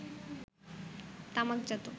তামাকজাত